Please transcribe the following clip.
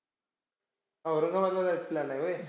औरंगाबादला जायचा plan आहे व्हंय?